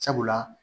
Sabula